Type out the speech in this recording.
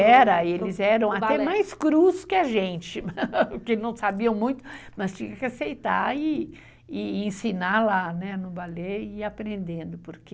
Era, e eles eram até mais crus que a gente, porque não sabiam muito, mas tinha que aceitar e ensinar lá no balé e ir aprendendo, porque...